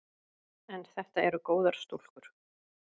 En þetta eru góðar stúlkur.